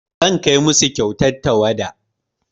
Zan kai musu kyautar tawada.